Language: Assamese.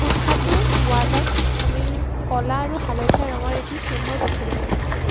কোঠাটোৰ ৱালত আমি ক'লা আৰু হালধীয়া ৰঙৰ এটি চিহ্নও দেখিবলৈ পাইছোঁ।